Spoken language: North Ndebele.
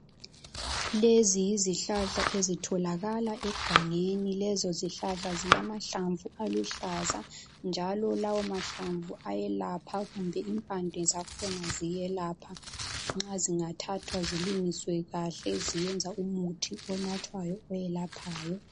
Lezi yizihlahla ezitholakala egangeni. Lezo zihlahla zilamahlamvu aluhlaza njalo lawomahlamvu ayelapha kumbe impande zakhona ziyelapha nxa zingathathwa zilungiswe kahle ziyayenza umuthi onathwayo oyelaphayo.